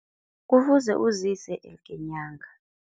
Kufuze uzise elke nyanga.